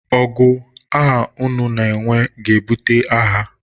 ọgụ a unu na-enwe ga-ebute agha